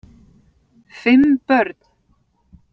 Fimm börn